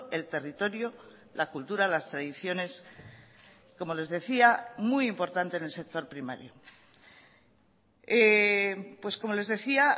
el territorio la cultura las tradiciones como les decía muy importante en el sector primario como les decía